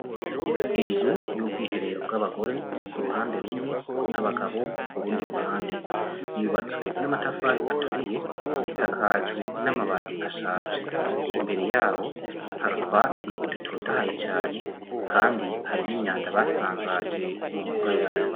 Inzu y'ubwihero bw'abagore ,k'uruhande rumwe ,n'abagabo k'urundi ruhande, yubatswe n'amatafari aturiye, isakajwe n'amabati ashaje .Imbere yaho har'utwatsi dutotahaye cane kandi hari n'imyanda basanjaje mumbuga yayo.